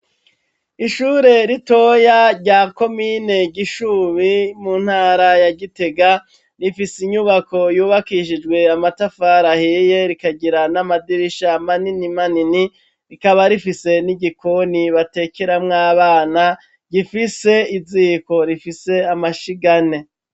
ishure ritoya rya komine gishubi mu ntara ya gitega, rifise inyubako yubakishijwe amatafari ahiye, rikagira n'amadirisha manini manini rikaba rifise n'igikoni batekeramw'abana gifise iziiko rifise amashiga ane.